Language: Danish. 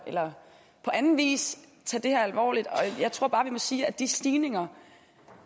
eller på anden vis tage det her alvorligt jeg tror vi må sige at de stigninger